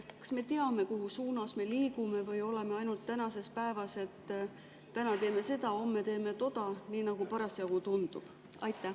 Kas me teame, kuhu suunas me liigume või oleme ainult tänases päevas, et täna teeme seda, homme teeme toda, nii nagu parasjagu tundub?